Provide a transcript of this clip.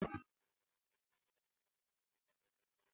Ịkpọgide mmadụ nwere ike ịkpata ọnwụ.